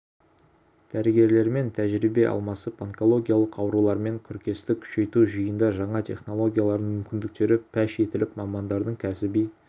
дәрігерлермен тәжірибе алмасып онкологиялық аурулармен күресті күшейту жиында жаңа технологиялардың мүмкіндіктері паш етіліп мамандардың кәсіби